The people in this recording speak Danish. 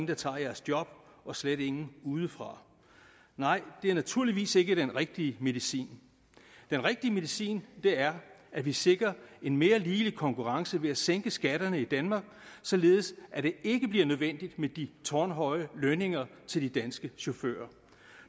der tager jeres job og slet ingen udefra nej det er naturligvis ikke den rigtige medicin den rigtige medicin er at vi sikrer en mere ligelig konkurrence ved at sænke skatterne i danmark således at det ikke bliver nødvendigt med de tårnhøje lønninger til de danske chauffører